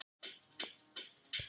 Hann var augsýnilega tímabundinn.